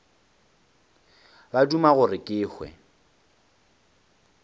ba duma gore ke hwe